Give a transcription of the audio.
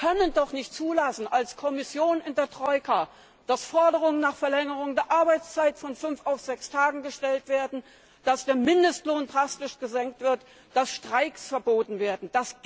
Sie können doch als Kommission in der Troika nicht zulassen, dass Forderungen nach Verlängerung der Arbeitszeit von fünf auf sechs Tage gestellt werden, dass der Mindestlohn drastisch gesenkt wird, dass Streiks verboten werden!